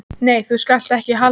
Nei, þú skalt ekki halda það!